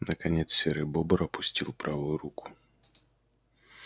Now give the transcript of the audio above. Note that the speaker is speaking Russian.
наконец серый бобр опустил правую руку